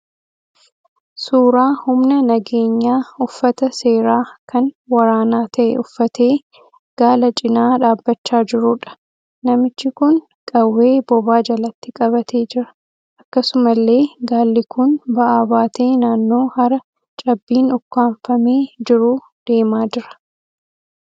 Suuraa humna nageenyaa uffata seeraa kan waraanaa ta'e uffatee gaala cina dhaabbachaa jiruudha. Namichi kun qawwee bobaa jalatti qabatee jira. Akkasumallee gaalli kun ba'aa baatee naannoo hara cabbiin ukkaanfamee jiruu deemaa jira.